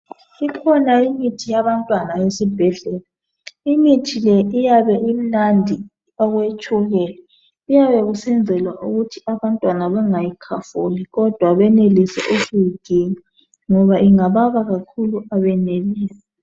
Ikhona imithi yabantwana esibhedlela, imithi le iyabe imnandi okwetshukela kuyabe kusenzelwa ukuthi abantwana bangayikhafuli kodwa benelise ukuyiginya ngoba ingababa kakhulu abenelisi.